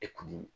E kun